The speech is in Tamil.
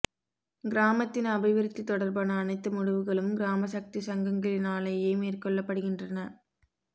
கிராமத்தின் அபிவிருத்தி தொடர்பான அனைத்து முடிவுகளும் கிராமசக்தி சங்கங்களினாலேயே மேற்கொள்ளப்படுகின்றன